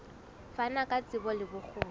fana ka tsebo le bokgoni